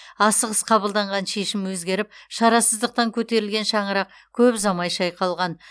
асығыс қабылданған шешім өзгеріп шарасыздықтан көтерілген шаңырақ көп ұзамай шайқалған